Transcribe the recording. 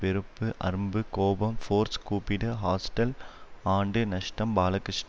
வெறுப்பு அரும்பு கோபம் ஃபோர்ஸ் கூப்பிடு ஹாஸ்டல் ஆண்டு நஷ்டம் பாலகிருஷ்ண